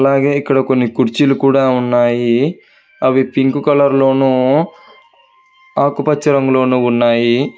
అలాగే ఇక్కడ కొన్ని కుర్చీలు కూడా ఉన్నాయి అవి పింక్ కలర్ లోనూ ఆకుపచ్చ రంగులోనూ ఉన్నాయి.